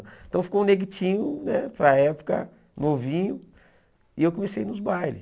Então ficou um neguitinho, né, para época, novinho, e eu comecei nos bailes.